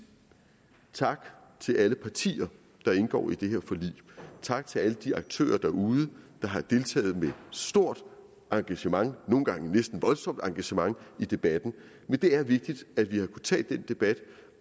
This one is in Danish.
tak til alle partier der indgår i det her forlig tak til alle de aktører derude der har deltaget med stort engagement nogle gange næsten voldsomt engagement i debatten men det er vigtigt at vi har kunnet tage den debat